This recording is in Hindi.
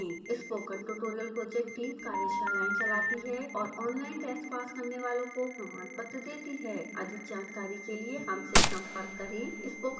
स्पोकन ट्यूटोरियल प्रोजेक्ट टीम कार्यशालाएं चलाती है और ऑनलाइन टेस्ट पास करने वालों को प्रमाणपत्र देती है अधिक जानकारी के लिए हमसे संपर्क करें